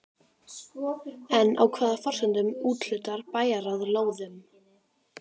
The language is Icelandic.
En á hvaða forsendum úthlutar bæjarráð lóðunum?